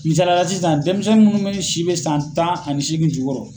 Misalaya sisan denmisɛn mun si bɛ san tan ani seegin jukɔrɔ.